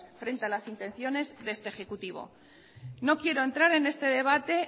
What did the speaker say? frente a las intenciones de este ejecutivo no quiero entrar en este debate